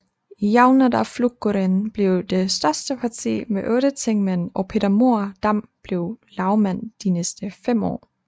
Javnaðarflokkurin blev det største parti med otte tingmænd og Peter Mohr Dam blev lagmand de næste fem år